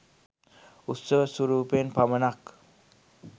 උත්සව ස්වරූපයෙන් පමණක්